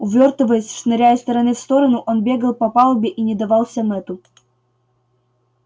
увёртываясь шныряя из стороны в сторону он бегал по палубе и не давался мэтту